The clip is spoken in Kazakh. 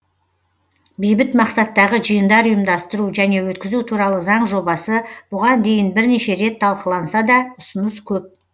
бейбіт мақсаттағы жиындар ұйымдастыру және өткізу туралы заң жобасы бұған дейін бірнеше рет талқыланса да ұсыныс көп